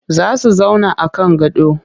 Za su zauna a kan gado